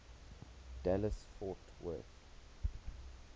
dallas fort worth